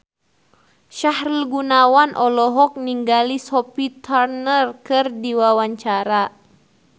Sahrul Gunawan olohok ningali Sophie Turner keur diwawancara